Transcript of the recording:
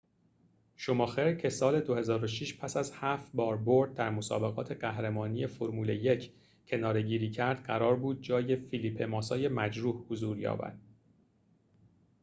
شوماخر که سال ۲۰۰۶ پس از هفت بار برد در مسابقات قهرمانی فرمول ۱ کناره‌گیری کرد قرار بود جای فلیپه ماسای مجروح حضور یابد